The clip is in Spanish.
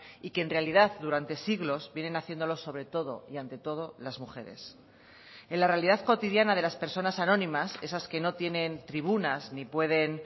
y que en realidad durante siglos vienen haciéndolo sobre todo y ante todo las mujeres en la realidad cotidiana de las personas anónimas esas que no tienen tribunas ni pueden